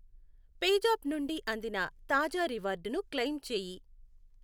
పేజాప్ నుండి అందిన తాజా రివార్డును క్లెయిమ్ చేయి.